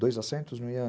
Dois acentos não iam